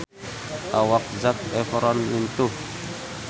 Awak Zac Efron lintuh